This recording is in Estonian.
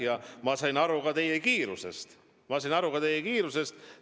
Ja ma sain aru ka teie etteruttamisest.